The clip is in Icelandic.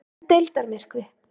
En deildarmyrkvi?